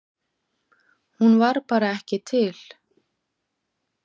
Hún var bara ekki til.